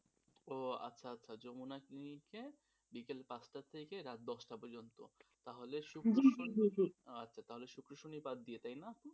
ও আচ্ছা আচ্ছা যমুনা clinic এ বিকাল পাঁচটার থেকে রাত দশটা পর্যন্ত তাহলে শুক্র শুক্র শনি বাদ দিয়ে তাই না,